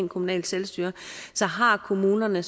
kommunale selvstyre kommunerne